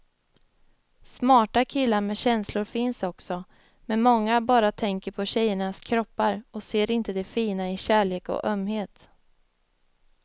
Smarta killar med känslor finns också, men många bara tänker på tjejernas kroppar och ser inte det fina i kärlek och ömhet.